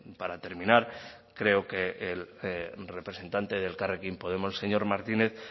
para terminar creo que el representante de elkarrekin podemos el señor martínez